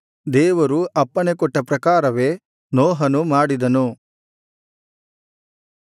ದೇವರು ಅಪ್ಪಣೆಕೊಟ್ಟ ಪ್ರಕಾರವೇ ನೋಹನು ಮಾಡಿದನು